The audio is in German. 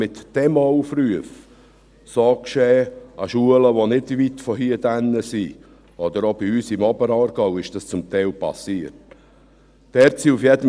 So geschehen an Schulen, die nicht weit von hier entfernt sind, oder zum Teil ist dies auch bei uns im Oberaargau geschehen.